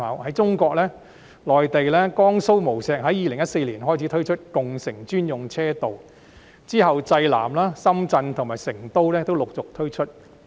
在中國內地，江蘇無錫在2014年開始推出共乘專用車道，之後濟南、深圳及成都亦陸續推出。